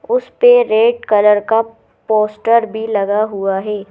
उस पे red colour का पोस्टर भी लगा हुआ है।